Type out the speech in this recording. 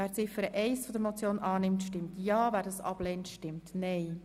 Wer Ziffer 1 der Motion annimmt, stimmt Ja, wer sie ablehnt, stimmt Nein.